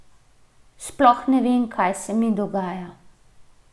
Sploh ne vem, kaj se mi dogaja.